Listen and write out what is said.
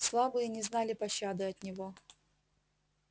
слабые не знали пощады от него